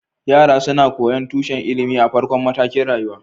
Yara suna koyon tushen ilimi a farkon matakin rayuwa